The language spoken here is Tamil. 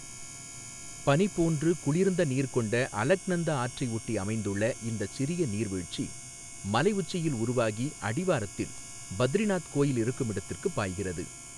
பனி போன்று குளிர்ந்த நீர் கொண்ட அலக்நந்தா ஆற்றை ஒட்டி அமைந்துள்ள இந்தச் சிறிய நீர்வீழ்ச்சி, மலை உச்சியில் உருவாகி அடிவாரத்தில் பத்ரிநாத் கோயில் இருக்குமிடத்திற்குப் பாய்கிறது.